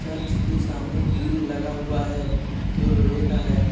Church के सामने grill लगा हुआ है जो लोहे का है।